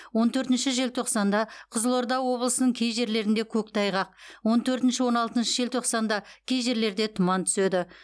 он төртінші желтоқсанда қызылорда облысының кей жерлерінде көктайғақ он төртінші он алтыншы желтоқсанда кей жерлерде тұман түседі